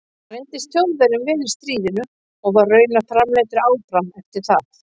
Hann reyndist Þjóðverjum vel í stríðinu og var raunar framleiddur áfram eftir það.